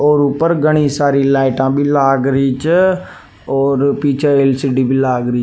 और ऊपर घनी सारी लाइट लाग री छ और पीछे एल.सी.डी. भी लाग री।